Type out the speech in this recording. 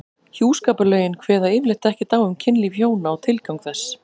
Hjúskaparlögin kveða yfirleitt ekkert á um kynlíf hjóna og tilgang þess.